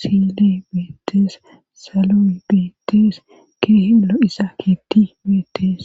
sidi bietes salui biites keehi lo7isa kiti bitees.